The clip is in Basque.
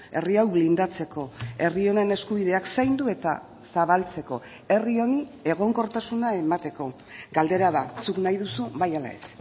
herri hau blindatzeko herri honen eskubideak zaindu eta zabaltzeko herri honi egonkortasuna emateko galdera da zuk nahi duzu bai ala ez